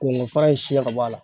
Kɔnkɔ fara in siɲɛn ka bɔ a la